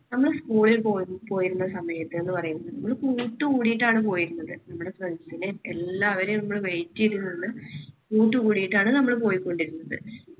നമ്മുടെ school ൽ പോയിരുന്ന സമയത്ത് എന്ന് പറയുന്നത് നമ്മുടെ കൂട്ടുകൂടിയിട്ടാണ് പോയിരുന്നത്. നമ്മുടെ friends നെയും എല്ലാവരെയും നമ്മൾ wait ചെയ്ത് നിന്ന് കൂട്ടുകൂടിയിട്ടാണ് നമ്മൾ പോയിക്കൊണ്ടിരുന്നത്.